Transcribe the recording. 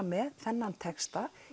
með þennan texta